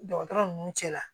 Dɔgɔtɔrɔ ninnu cɛla